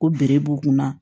Ko bere b'u kunna